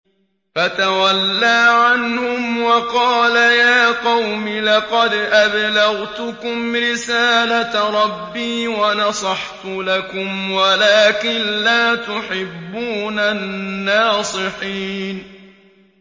فَتَوَلَّىٰ عَنْهُمْ وَقَالَ يَا قَوْمِ لَقَدْ أَبْلَغْتُكُمْ رِسَالَةَ رَبِّي وَنَصَحْتُ لَكُمْ وَلَٰكِن لَّا تُحِبُّونَ النَّاصِحِينَ